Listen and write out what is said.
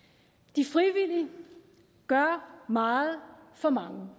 de frivillige gør meget for mange